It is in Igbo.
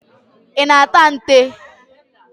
Ị na-ata nte?